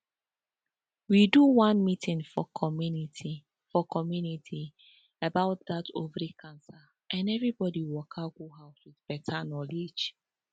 we do one meeting for community for community about that ovary cancer and everybody waka go house with better knowledge